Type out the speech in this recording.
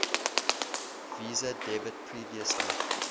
visa debit previously